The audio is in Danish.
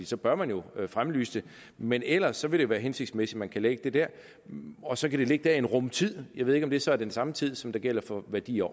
så bør man jo fremlyse dem men ellers vil det være hensigtsmæssigt at man kan lægge dem der og så kan de ligge der i en rum tid jeg ved ikke om det så er den samme tid som gælder for værdier